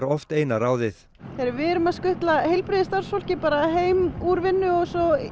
oft eina ráðið við erum að skutla heilbrigðisstarfsfólki heim úr vinnu og